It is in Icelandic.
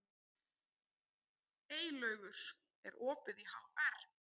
Eylaugur, er opið í HR?